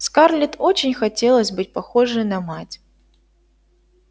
скарлетт очень хотелось быть похожей на мать